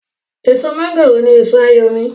èso mọ́ngòrò ní èso àyò mi